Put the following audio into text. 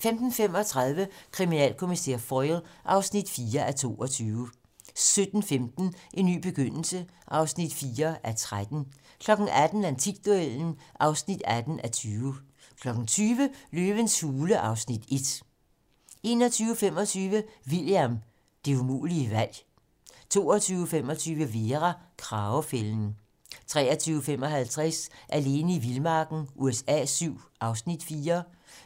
15:35: Kriminalkommissær Foyle (4:22) 17:15: En ny begyndelse (4:13) 18:00: Antikduellen (18:20) 20:00: Løvens hule (Afs. 1) 21:25: William - Det umulige valg 22:25: Vera: Kragefælden 23:55: Alene i vildmarken USA VII (Afs. 4)